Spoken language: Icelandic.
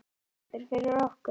Þórhildur: Fyrir okkur?